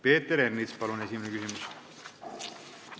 Peeter Ernits, palun esimene küsimus!